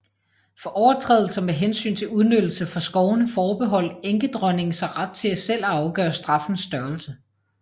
For overtrædelser med hensyn til udnyttelse fra skovene forbeholdt enkedronningen sig ret til selv at afgøre straffens størrelse